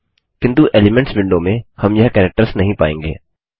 किन्तु elements window में हम यह कैरेक्टर्स नहीं पाएँगे